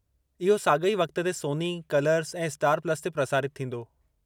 इहो साग॒ई वक़्त ते सोनी, कलर्स ऐं स्टार प्लस ते प्रसारितु थींदो।